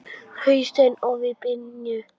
Hausinn ofan í bringu.